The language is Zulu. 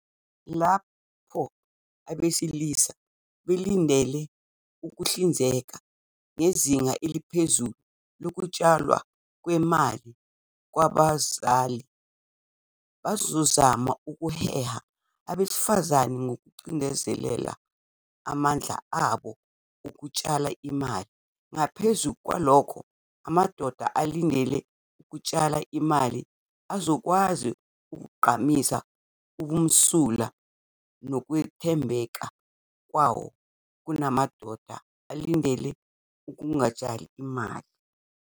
Lapho abesilisa belindele ukuhlinzeka ngezinga eliphezulu lokutshalwa kwemali kwabazali, bazozama ukuheha abesifazane ngokugcizelela amandla abo okutshala imali. Ngaphezu kwalokho, amadoda alindele ukutshala imali azokwazi ukugqamisa ubumsulwa nokwethembeka kwawo kunamadoda alindele ukungatshali imali.